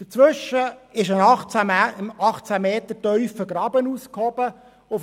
Dazwischen ist ein 18 Meter tiefer Graben ausgehoben worden.